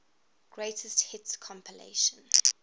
greatest hits compilation